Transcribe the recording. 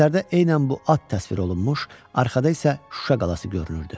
Əsərdə elə bu at təsvir olunmuş, arxada isə Şuşa qalası görünürdü.